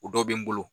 O dɔ bɛ n bolo